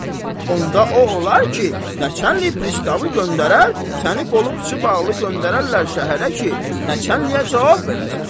Onda o olar ki, nəçənli pristavı göndərər səni qolu-quçu bağlı göndərərlər şəhərə ki, nəçənliyə cavab verəsən.